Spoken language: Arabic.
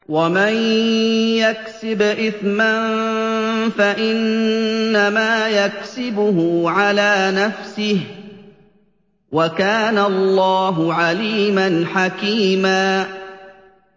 وَمَن يَكْسِبْ إِثْمًا فَإِنَّمَا يَكْسِبُهُ عَلَىٰ نَفْسِهِ ۚ وَكَانَ اللَّهُ عَلِيمًا حَكِيمًا